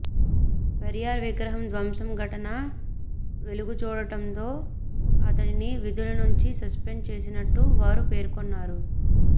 పెరియార్ విగ్రహం ధ్వంసం ఘటన వెలుగుచూడడంతో అతడిని విధుల నుంచి సస్పెండ్ చేసినట్టు వారు పేర్కొన్నారు